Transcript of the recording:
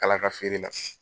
Kala ka feere la.